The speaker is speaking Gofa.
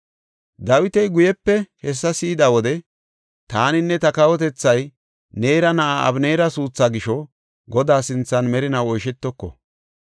Dawiti guyepe hessa si7ida wode, “Taaninne ta kawotethay Neera na7aa Abeneera suuthaa gisho Godaa sinthan merinaw oyshetoko.